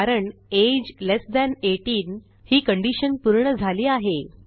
कारण age less than 18 ही condition पूर्ण झाली आहे